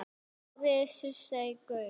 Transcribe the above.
Árið sem Surtsey gaus.